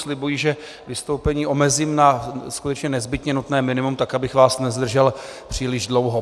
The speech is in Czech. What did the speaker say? Slibuji, že vystoupení omezím na skutečně nezbytně nutné minimum, tak abych vás nezdržel příliš dlouho.